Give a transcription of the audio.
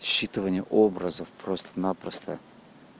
считывание образов просто-напросто